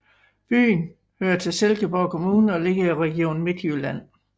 Byen hører til Silkeborg Kommune og ligger i Region Midtjylland